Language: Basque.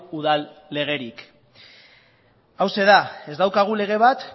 udal legerik hauxe da ez daukagu lege bat